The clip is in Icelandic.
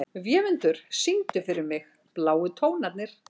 Vémundur, syngdu fyrir mig „Bláu tónarnir“.